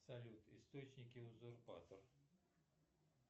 салют источники узурпатор